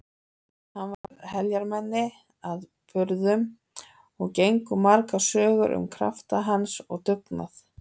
Hann var heljarmenni að burðum og gengu margar sögur um krafta hans og dugnað.